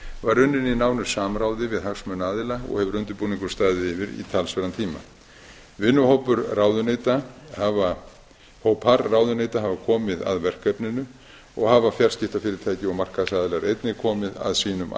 var unnin í nánu samráði við hagsmunaaðila og hefur undirbúningur staðið yfir í talsverðan tíma vinnuhópar ráðuneyta hafa komið að verkefninu og hafa fjarskiptafyrirtæki og markaðsaðilar einnig komið að sínum